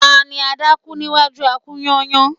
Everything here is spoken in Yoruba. Ta ni adákú níwájú a-kú-yányán